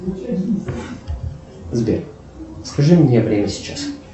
сбер скажи мне время сейчас